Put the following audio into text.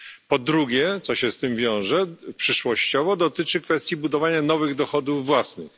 Po drugie, co się z tym wiąże, przyszłościowo dotyczy kwestii budowania nowych dochodów własnych.